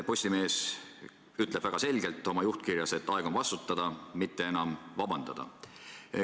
Postimees ütleb oma juhtkirjas väga selgelt, et aeg on vastutada, mitte enam vabandada.